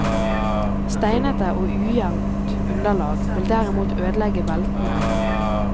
Steinete og ujevnt underlag vil derimot ødelegge beltene.